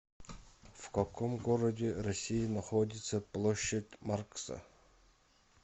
в каком городе россии находится площадь маркса